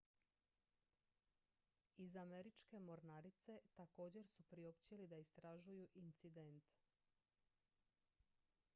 iz američke mornarice također su priopćili da istražuju incident